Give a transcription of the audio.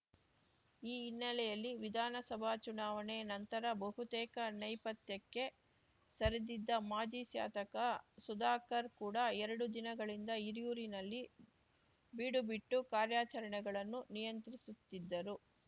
ಈ ಹಿನ್ನೆಲೆಯಲ್ಲಿ ವಿಧಾನಸಭಾ ಚುನಾವಣೆ ನಂತರ ಬಹುತೇಕ ನೈಪಥ್ಯಕ್ಕೆ ಸರಿದಿದ್ದ ಮಾಜಿ ಶಾತಕ ಸುಧಾಕರ್ ಕೂಡ ಎರಡು ದಿನಗಳಿಂದ ಹಿರಿಯೂರಿನಲ್ಲಿ ಬೀಡು ಬಿಟ್ಟು ಕಾರ್ಯಾಚರಣೆಗಳನ್ನು ನಿಯಂತ್ರಿಸುತ್ತಿದ್ದರು